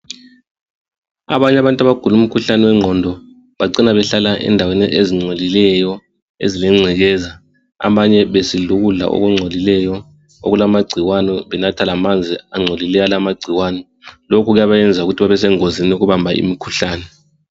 abanye abantu abagula umkhuhlane wenqondo bacina behlala endaweni ezincolileyo ezilencekeza abanye besidla ukudla okuncolileyo okulamagcikwane benatha alamanzi ancolileyo alamagcikwane lokhu kuyabayenza babesengozini yokubamba umkhuhlane